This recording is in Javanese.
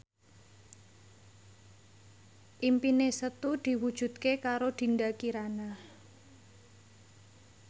impine Setu diwujudke karo Dinda Kirana